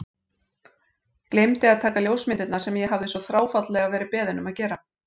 Gleymdi að taka ljósmyndirnar sem ég hafði svo þráfaldlega verið beðinn um að gera.